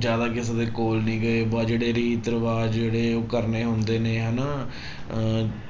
ਜ਼ਿਆਦਾ ਕਿਸੇ ਦੇ ਕੋਲ ਨੀ ਗਏ ਆਹ ਜਿਹੜੇ ਰੀਤ ਰਿਵਾਜ਼ ਜਿਹੜੇ ਉਹ ਕਰਨੇ ਹੁੰਦੇ ਨੇ ਹਨਾ ਅਹ